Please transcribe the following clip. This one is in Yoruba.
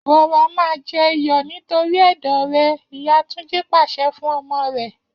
Rọra máa jẹ iyọ̀ torí ẹ̀dọ̀ rẹ!. ìyá Túnjí pàṣẹ fún ọmọ rẹ̀